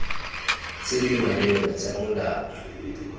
tse di maleba tsa molao